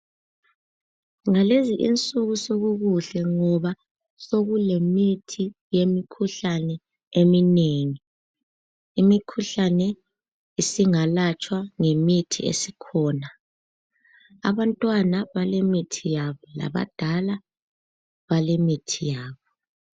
Ngalezinsuku sokukuhle ngoba sokulemithi yemikhuhlane eminengi imikhuhlane isingalatshwa ngemithi esikhona abantwana balemithi yabo labadala balemithi yabo.